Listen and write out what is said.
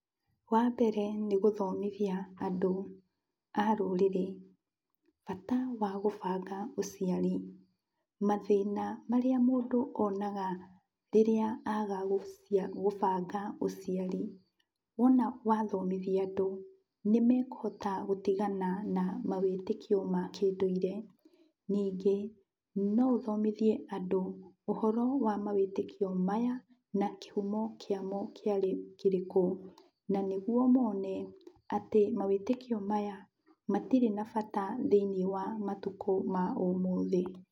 Wambere nĩ gũthomithia andũ a rũrĩrĩ bata wa gũbanga ũciari, mathĩna marĩa mũndũ onaga rĩrĩa aga gũbanga ũciari. Wona wathomithia andũ, nĩmekũhota gũtigana na mawĩtĩkio ma kĩndũire. Ningĩ no ũthomithie andũ ũhoro wa mawĩtĩkio maya na kĩhumo kĩamo kĩarĩ kĩrĩkũ, na nĩguo mone mawĩtĩkio maya matirĩ na bata thĩiniĩ wa matukũ ma ũmũthĩ.